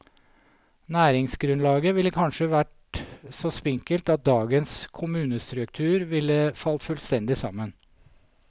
Næringsgrunnlaget ville kanskje vært så spinkelt at dagens kommunestruktur ville falt fullstendig sammen.